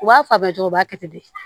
U b'a fɔ a bɛ cogo b'a kɛ ten de